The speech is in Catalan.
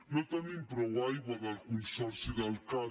no tenim prou aigua del consorci del cat